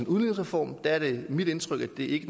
udligningsreform er det mit indtryk at det ikke